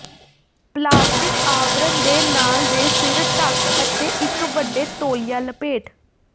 plastic ਆਵਰਣ ਦੇ ਨਾਲ ਦੇ ਸਿਰ ਢਕ ਅਤੇ ਇੱਕ ਵੱਡੇ ਤੌਲੀਆ ਲਪੇਟ